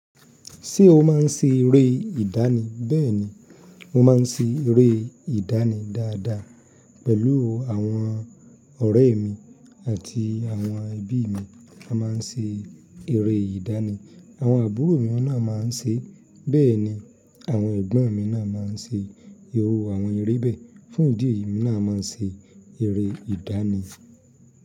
Ṣé o máa ń ṣe eré ìdánì? Bẹ́ẹ̀ni, mo máa ń ṣe eré ìdánì dáadáa pẹ̀lú àwọn ọ̀rẹ́ mi àti àwọn ẹbí mi. Mo máa ń ṣe eré ìdánì, àwọn àbúrò mi náà máa ń ṣe, bẹ́ẹ̀ ni àwọn ẹ̀gbọ́n mi náà máa ń ṣe, irú àwọn eré bẹ́ẹ̀ fún ìdí èyí emi naa máa ń ṣe eré ìdánì.